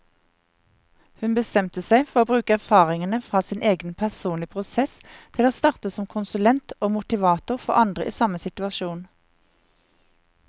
Hun bestemte seg for å bruke erfaringene fra sin egen personlige prosess til å starte som konsulent og motivator for andre i samme situasjon.